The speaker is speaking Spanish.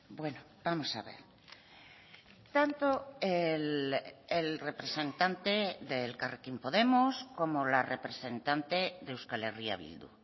bueno vamos a ver tanto el representante de elkarrekin podemos como la representante de euskal herria bildu